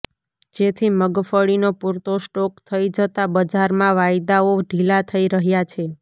જેથી મગફળીનો પૂરતો સ્ટોક થઈ જતા બજારમાં વાયદાઓ ઢીલા થઈ રહ્યા છે